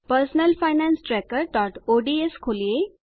personal finance trackerઓડ્સ ખોલીએ